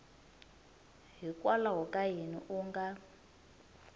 hikwalaho ka yini u nga